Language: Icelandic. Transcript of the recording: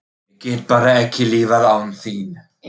Ég get bara ekki lifað án þín.